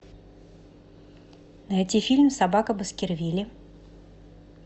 найти фильм собака баскервилей